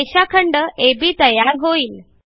रेषाखंड अब तयार होईल